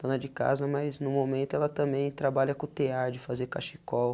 Dona de casa, mas no momento ela também trabalha com tear de fazer cachecol.